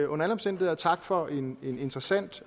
under alle omstændigheder tak for en interessant